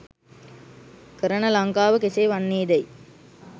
කරන ලංකාව කෙසේ වන්නේ දැයි